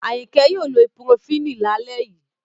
Ayinke yoo lo ibupurofínì la le yii